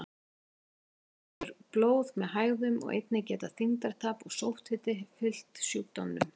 Stundum kemur blóð með hægðum og einnig geta þyngdartap og sótthiti fylgt sjúkdómnum.